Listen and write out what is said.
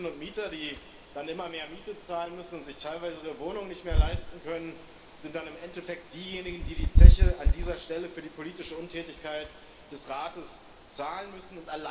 Die Mieterinnen und Mieter, die dann immer mehr Miete zahlen müssen und sich teilweise ihre Wohnung nicht mehr leisten können, sind dann im Endeffekt diejenigen, die die Zeche an dieser Stelle für die politische Untätigkeit des Rates zahlen müssen.